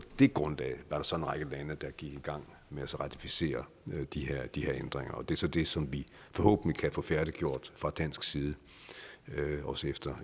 det grundlag var der så en række lande der gik i gang med at ratificere de her de her ændringer og det er så det som vi forhåbentlig kan få færdiggjort fra dansk side efter